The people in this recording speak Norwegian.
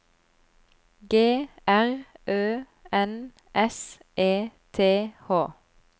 G R Ø N S E T H